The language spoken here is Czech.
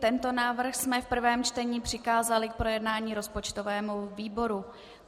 Tento návrh jsme v prvém čtení přikázali k projednání rozpočtovému výboru.